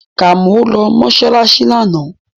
Kàmọ́ lọ mọ́ṣáláṣí lánàá